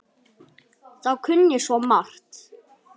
Þú kunnir svo margt.